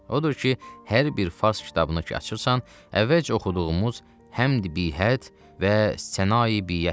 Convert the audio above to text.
Odur ki, hər bir fars kitabını ki açırsan, əvvəlcə oxuduğumuz Həmd bihəd və Sənaye biəddir.